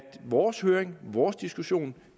vores høring vores diskussion